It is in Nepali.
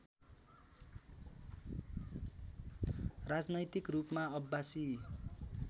राजनैतिक रूपमा अब्बासी